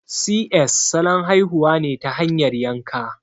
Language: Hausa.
Si ƴes' salon haihuwa ne ta hanyar yanka